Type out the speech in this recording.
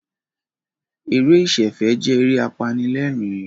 Eré ìsẹ̀fẹ̀ jẹ́ eré apanilẹ́rìn-ín